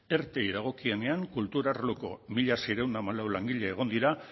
erteei dagokienean kultur arloko mila seiehun eta hamalau langile egon dira